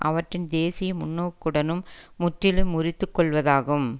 அவற்றின் தேசிய முன்னோக்குடனும் முற்றிலும் முறித்து கொள்வதாகும்